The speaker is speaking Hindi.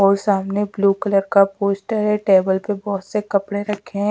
और सामने ब्लू कलर का पोस्टर है टेबल पे बोहोत से कपड़े रखें हैं।